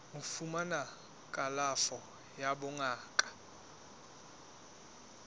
ho fumana kalafo ya bongaka